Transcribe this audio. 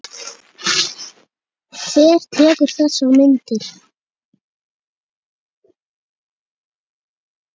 Hver tekur þessar myndir?